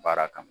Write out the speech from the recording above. Baara kama